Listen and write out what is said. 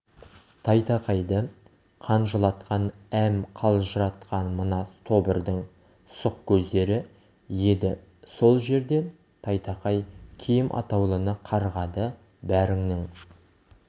тайтақайды қанжылатқан әм қалжыратқан мына тобырдың сұқ көздері еді сол жерде тайтақай киім атаулыны қарғады бәріңнің